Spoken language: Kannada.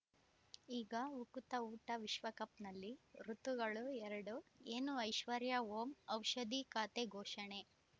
ಈಗ ಉಕುತ ಊಟ ವಿಶ್ವಕಪ್‌ನಲ್ಲಿ ಋತುಗಳು ಎರಡು ಏನು ಐಶ್ವರ್ಯಾ ಓಂ ಔಷಧಿ ಖಾತೆ ಘೋಷಣೆ